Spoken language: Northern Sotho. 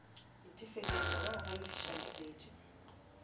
itefeletša ka go galefiša lesedi